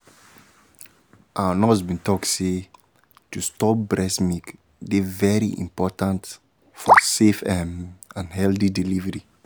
our nurse been talk say um to store breast milk dey very important for um safe ehm and healthy delivery